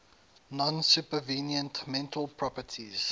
non supervenient mental properties